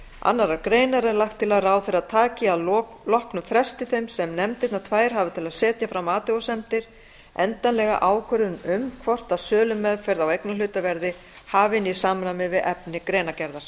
annarrar greinar er lagt til að ráðherra taki að loknum fresti þeim sem nefndirnar tvær hafa til að setja fram athugasemdir endanlega ákvörðun um hvort að sölumeðferð á eignarhluta verði hafin í samræmi við efni greinargerðar